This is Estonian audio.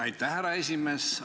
Aitäh, härra esimees!